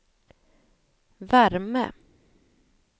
värme